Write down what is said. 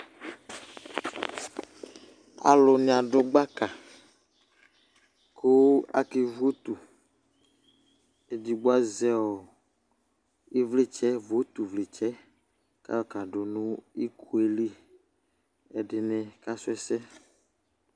alò ni adu gbaka kò ake votu edigbo azɛ ivlitsɛ votu vlitsɛ k'ayɔ ka do no iko yɛ li ɛdini kasu ɛsɛ